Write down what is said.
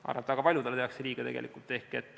Ma arvan, et väga paljudele tehakse tegelikult liiga.